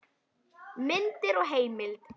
Myndir og heimild